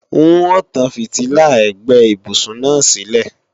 N ó tán fìtílà ẹ̀gbẹ́ ibùsùn náà sílẹ̀